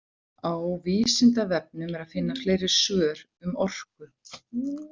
Á Vísindavefnum er að finna fleiri svör um orku.